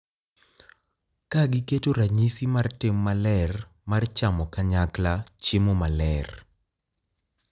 Ka giketo ranyisi mar tim maler mar chamo kanyakla Chiemo Maler,